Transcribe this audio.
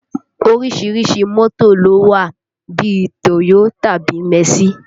Orísìírísìí mọ́tò ló wà bí i Toyo tàbí mẹ̀sí